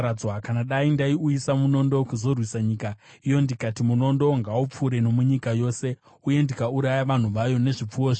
“Kana dai ndaiuyisa munondo kuzorwisa nyika iyo ndikati, ‘Munondo ngaupfuure nomunyika yose,’ uye ndikauraya vanhu vayo nezvipfuwo zvavo,